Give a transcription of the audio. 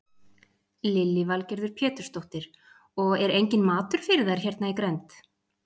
Lillý Valgerður Pétursdóttir: Og er enginn matur fyrir þær hérna í grennd?